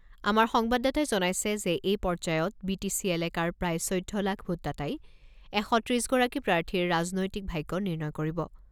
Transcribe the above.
আমাৰ সংবাদদাতাই জনাইছে যে এই পৰ্যায়ত বি টি চি এলেকাৰ প্ৰায় চৈধ্য লাখ ভোটদাতাই এশ ত্ৰিছগৰাকী প্ৰাৰ্থীৰ ৰাজনৈতিক ভাগ্য নিৰ্ণয় কৰিব।